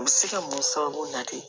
U bɛ se ka mun sababu la de